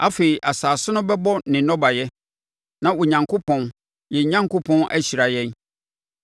Afei asase no bɛbɔ ne nnɔbaeɛ, na Onyankopɔn, yɛn Onyankopɔn ahyira yɛn.